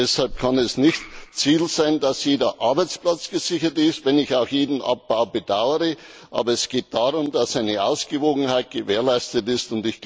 Deshalb kann es nicht Ziel sein, dass jeder Arbeitsplatz gesichert ist, wenn ich auch jeden Abbau bedauere, aber es geht darum, dass eine Ausgewogenheit gewährleistet ist.